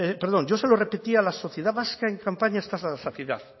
perdón yo se lo repetía a la sociedad vasca en campaña hasta la saciedad